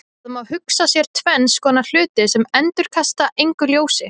Það má hugsa sér tvenns konar hluti sem endurkasta engu ljósi.